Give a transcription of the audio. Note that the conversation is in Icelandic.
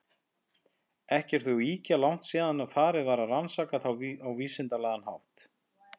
Ekki er þó ýkja langt síðan farið var að rannsaka þá á vísindalegan hátt.